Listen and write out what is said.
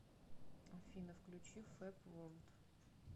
афина включи фэб ворлд